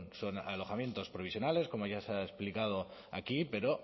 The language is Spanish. son alojamientos provisionales como ya se ha explicado aquí pero